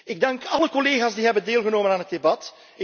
Ik dank alle collega's die hebben deelgenomen aan het debat.